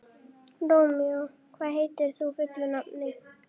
Rómeó, hvað heitir þú fullu nafni?